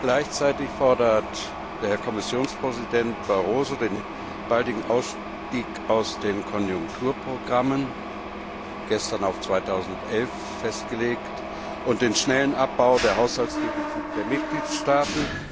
Gleichzeitig fordert Kommissionspräsident Barroso den baldigen Ausstieg aus den Konjunkturprogrammen, gestern auf 2011 festgelegt, und den schnellen Abbau der Haushaltsdefizite der Mitgliedstaaten.